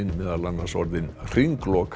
orðin